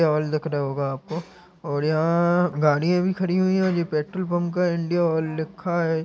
oil दिख रहा होगा आपको और यहाँ पे गाड़िया भी खड़ी हुई है और ये पेट्रोल पंप का इंडिया आयल लिखा--